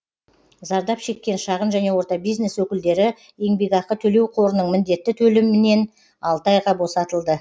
зардап шеккен шағын және орта бизнес өкілдері еңбекақы төлеу қорының міндетті төлемінен алты айға босатылды